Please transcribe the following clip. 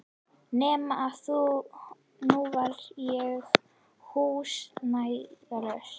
Nema að nú var ég húsnæðislaus.